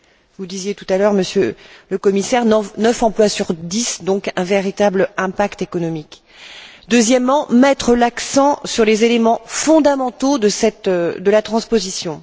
Vous le disiez tout à l'heure, Monsieur le Commissaire, 9 emplois sur 10, donc un véritable impact économique. Deuxièmement, mettre l'accent sur les éléments fondamentaux de la transposition.